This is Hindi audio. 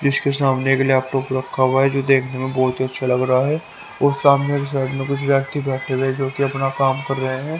इसके सामने एक लॅपटॉप रखा हुआ हैं जो देखने में बहोत ही अच्छा लग रहा हैं और सामने के साइड में कुछ व्यक्ति बैठे हुए जो कि अपना काम कर रहें हैं।